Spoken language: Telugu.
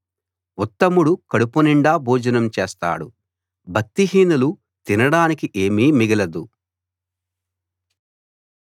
ఉత్తముడు కడుపునిండా భోజనం చేస్తాడు భక్తిహీనులు తినడానికి ఏమీ మిగలదు